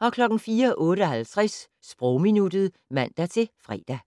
04:58: Sprogminuttet (man-fre)